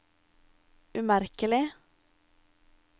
umerkelig